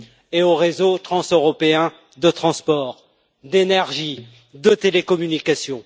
et aux réseaux transeuropéens de transport, de l'énergie et des télécommunications.